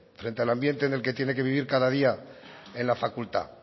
frente al ambiente en el que tiene que vivir cada día en la facultad